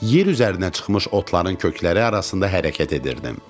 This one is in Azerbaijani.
Yer üzərinə çıxmış otların kökləri arasında hərəkət edirdim.